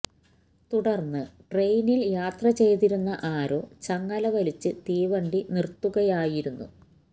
തുടര്ന്ന് ട്രെയിനില് യാത്ര ചെയ്തിരുന്ന ആരോ ചങ്ങല വലിച്ച് തീവണ്ടി നിര്ത്തുകയായിരുന്നു